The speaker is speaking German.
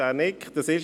Dieser nickt;